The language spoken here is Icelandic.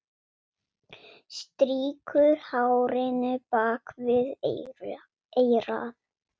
Strýkur hárinu bak við eyrað.